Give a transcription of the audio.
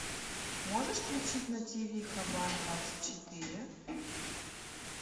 можешь включить на ти ви хабар двадцать четыре